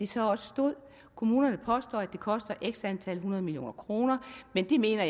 så også stod kommunerne påstår at det koster x antal hundrede millioner kroner men det mener